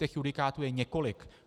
Těch judikátů je několik.